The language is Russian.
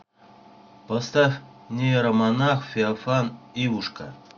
поставь нейромонах феофан ивушка